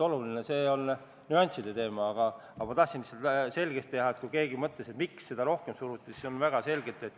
Loomulikult soovivad Riigikogu liikmed olla oma töös vastutulelikud ja lahked, nad ei soovi pisiasju suureks puhuda, kiireid asju asjata pidurdada.